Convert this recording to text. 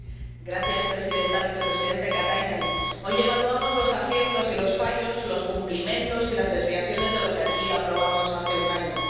Señora Presidenta, Vicepresidente Katainen, hoy evaluamos los aciertos y los fallos, los cumplimientos y las desviaciones de lo que aquí aprobamos hace un año.